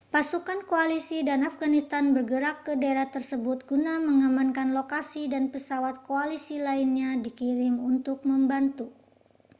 pasukan koalisi dan afghanistan bergerak ke daerah tersebut guna mengamankan lokasi dan pesawat koalisi lainnya dikirim untuk membantu